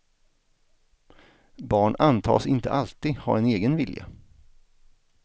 Barn antas inte alltid ha en egen vilja.